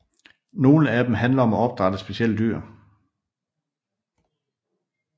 Nogle af dem handler om at opdrætte specielle dyr